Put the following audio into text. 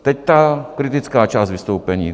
Teď ta kritická část vystoupení.